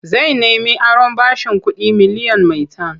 Zai nemi aron bashin kuɗi miliyan maitan.